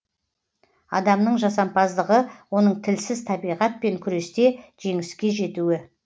адамның жасампаздығы оның тілсіз табиғатпен күресте жеңіске жетуі